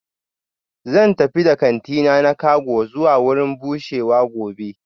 Zan tafi da kantina na cago zuwa wurin bushewa gobe